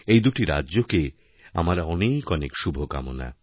এই দুটি রাজ্যকে আমার অনেক অনেক শুভকামনা